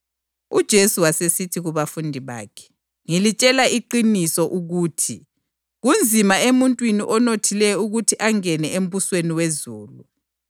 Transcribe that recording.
Kwathi insizwa ikuzwa lokho, yasuka idanile ngoba yayilenotho enengi kakhulu.